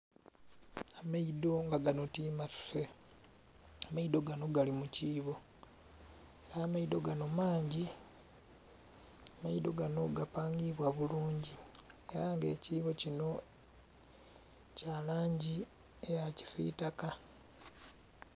Amaidho nga ganho timasuse, amaidho ganho gali mukibo era maidho ganho mangi, amaidho ganho gapangibwa bulungi era nga ekibo kinho kyalangi eya kisitaka.